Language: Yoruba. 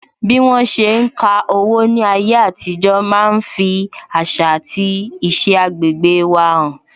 Bí wọn ṣe ń ka owó ní ayé àtijó máa ń fi àṣà àti iṣẹ agbegbe wa han